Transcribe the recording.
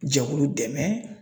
Jɛkulu dɛmɛ